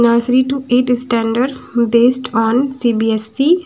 Nasrin to eight standard based on CBSE --